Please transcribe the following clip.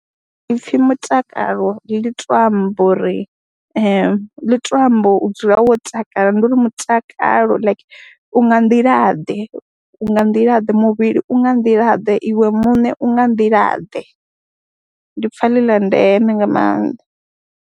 Ipfhi mutakalo ḽi tou amba ḽi tou amba u dzula wo takala ndi uri mutakalo like u nga nḓilaḓe, u nga nḓilaḓe, muvhili u nga nḓilaḓe, iwe muṋe u nga nḓilaḓe, ndi pfha ḽi ḽa ndeme nga maanḓa.